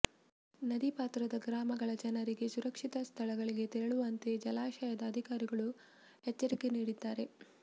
ನದಿ ಪಾತ್ರದ ಗ್ರಾಮಗಳ ಜನರಿಗೆ ಸುರಕ್ಷಿತ ಸ್ಥಳಗಳಿಗೆ ತೆರಳುವಂತೆ ಜಲಾಶಯದ ಅಧಿಕಾರಿಗಳು ಎಚ್ಚರಿಕೆ ನೀಡಿದ್ದಾರೆ